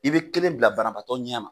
I bɛ kelen bila banabaatɔ ɲɛ ma,